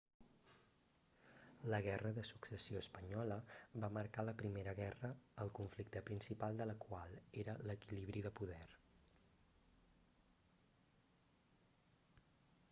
la guerra de successió espanyola va marcar la primera guerra el conflicte principal de la qual era l'equilibri de poder